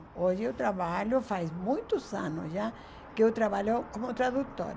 Hoje eu trabalho, faz muitos anos já que eu trabalho como tradutora.